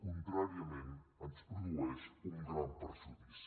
contràriament ens produeix un gran perjudici